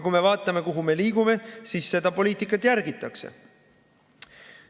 Kui me vaatame, kuhu me liigume, siis näeme, et seda poliitikat järgitakse.